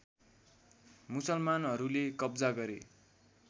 मुसलमानहरूले कब्जा गरे